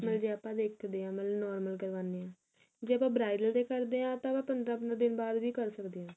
ਮਤਲਬ ਕੀ ਆਪਾਂ ਦੇਖਦੇ ਆ ਮਤਲਬ normal ਕਰਵਾਨੇ ਆ ਜੇ ਆਪਾਂ bridal ਤੇ ਕਰਦੇ ਆ ਤਾਂ ਆਪਾਂ ਪੰਦਰਾ ਪੰਦਰਾ ਦਿਨ ਬਾਅਦ ਵੀ ਕਰ ਸਕਦੇ ਆ